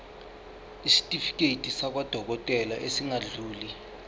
isitifiketi sakwadokodela esingadluli